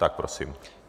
Tak prosím.